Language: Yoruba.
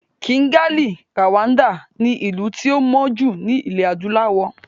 Kìgalì ( Kigali) ni ìlú tí ó mọ́ jù ní ilẹ̀ Adúláwọ̀.